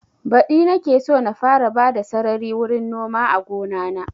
Badi nake so na fara bada sarari wurin noma a gona na